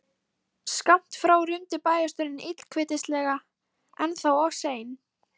Skammt frá rumdi bæjarstjórinn illkvittnislega: Ennþá of sein